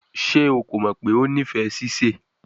Ṣe o ko mọ pe o nifẹ sise?